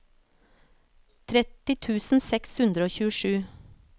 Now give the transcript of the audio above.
tretti tusen seks hundre og tjuesju